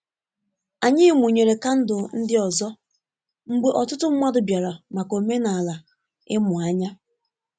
Anyị mụnyere kandụl ndị ọzọ mgbe ọtụtụ mmadụ bịara maka omenala imu anya.